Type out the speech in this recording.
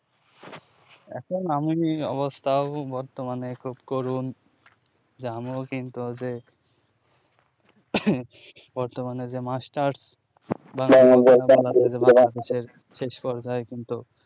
এখন আমিবি অবস্থা উ বর্তমানে খুব করুন যা আমুও কিন্তু as a বর্তমানে যে মাস্টার শেষপর্যায় কিন্তু